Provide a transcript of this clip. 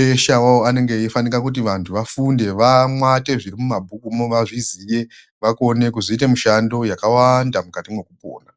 Eshe awawo anenge eifanira kuti vantu vafunde, vamwaute zvirimumabhukumwo vazviziye vakone kuzoite mushando yakawanda mukati mwekupona.